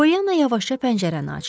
Polyanna yavaşca pəncərəni açdı.